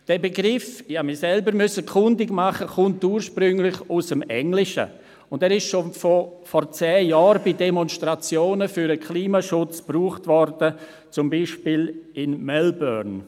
Dieser Begriff – ich musste mich selbst kundig machen – kommt ursprünglich aus dem Englischen und wurde schon vor zehn Jahren bei Demonstrationen für den Klimaschutz gebraucht, zum Beispiel in Melbourne.